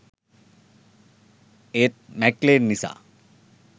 ඒත් මැක්ලේන් නිසා